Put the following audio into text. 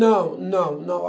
Não, não, não.